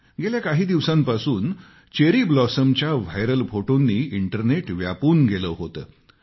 गेल्या काही दिवसांपासून चेरी ब्लॉसमच्या व्हायरल फोटोंनी इंटरनेट व्यापून गेलं होतं